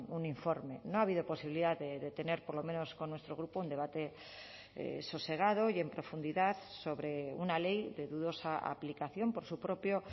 un informe no ha habido posibilidad de tener por lo menos con nuestro grupo un debate sosegado y en profundidad sobre una ley de dudosa aplicación por su propio